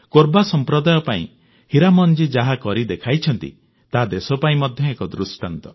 କୋରବା ସମ୍ପ୍ରଦାୟ ପାଇଁ ହୀରାମନ ଜୀ ଯାହା କରିଦେଖାଇଛନ୍ତି ତାହା ଦେଶ ପାଇଁ ଏକ ଦୃଷ୍ଟାନ୍ତ